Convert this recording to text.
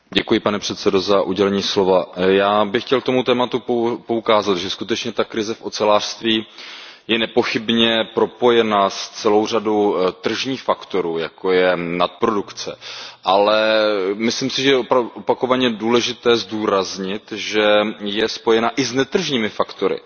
Pane předsedající, já bych chtěl k tomuto tématu poukázat, že skutečně krize v ocelářství je nepochybně propojena s celou řadou tržních faktorů, jako je nadprodukce, ale myslím si, že je opakovaně důležité zdůraznit, že je spojena i s netržními faktory.